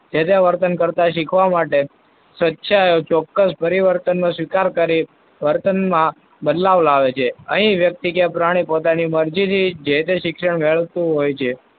જે તે વર્તન કરતા શીખવા માટે ચોક્કસ પરિવર્તનનો સ્વીકાર કરી વર્તનમાં બદલાવ લાવે છે. અહીં વ્યક્તિ કે પ્રાણી પોતાની મરજીથી જે તે શિક્ષણ મેળવતું હોય છે.